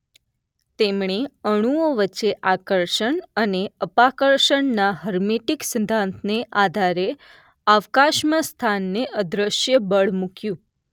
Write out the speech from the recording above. તેમણે અણુઓ વચ્ચે આકર્ષણ અને અપાકર્ષણના હર્મેટિક સિદ્ધાંતને આધારે અવકાશમાં સ્થાનને અદ્રશ્ય બળ મૂક્યું.